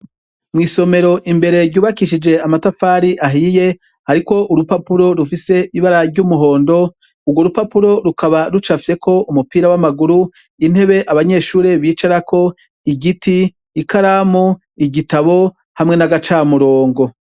Mw'isomero imbere ryubakishije amatafari ahiye hariko urupapuro rufise ibara ry'umuhondo, urwo rupapuro rukaba rucafyeko umupira w'amaguru, intebe abanyeshure bicarako, igiti, ikaramu, igitabo, hamwe n'agacamurongo.